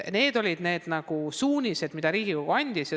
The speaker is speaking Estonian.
Need olid suunised, mida Riigikogu andis.